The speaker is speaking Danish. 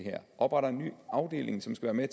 opretter en ny afdeling som skal være